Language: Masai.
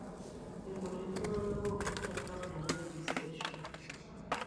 Irkutik tung'anak oopuku te program e registration.